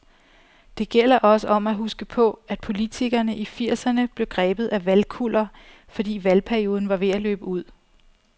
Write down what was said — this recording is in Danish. Det gælder også om at huske på, at politikerne i firserne blev grebet af valgkuller, fordi valgperioden var ved at løbe ud.